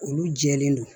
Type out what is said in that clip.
Olu jɛlen don